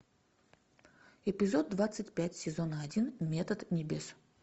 эпизод двадцать пять сезона один метод небес